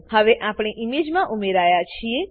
હવે આપણે ઈમેજમાં ઉમેરાયા છીએ